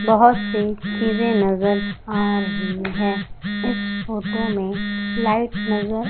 बहोत से चीजे नज़र आ रही है इस फोटो मे लाइट नज़र--